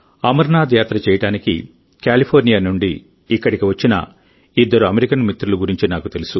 అమర్నాథ్ యాత్ర చేయడానికి కాలిఫోర్నియా నుండి ఇక్కడికి వచ్చిన ఇద్దరు అమెరికన్ మిత్రుల గురించి నాకు తెలుసు